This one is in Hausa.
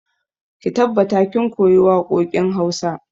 Ki tabbata kin koyi waƙoƙin wasa!